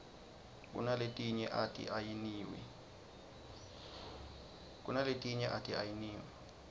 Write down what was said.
kunaletinye ati ayiniwi